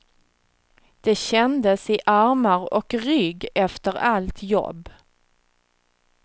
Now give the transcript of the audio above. Det kändes i armar och rygg efter allt jobb.